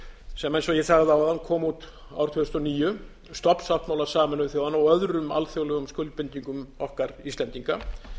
sem eins og ég sagði áðan kom út árið tvö þúsund og níu stofnsáttmála sameinuðu þjóðanna og öðrum alþjóðlegum skuldbindingum okkar íslendinga